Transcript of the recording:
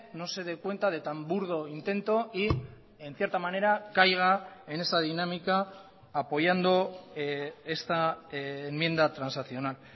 no se dé cuenta de tan burdo intento y en cierta manera caiga en esa dinámica apoyando esta enmienda transaccional